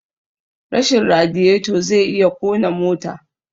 Rashin radiyeto zai iya kona mota